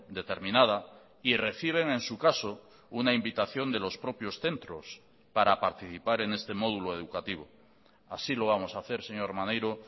determinada y reciben en su caso una invitación de los propios centros para participar en este módulo educativo así lo vamos a hacer señor maneiro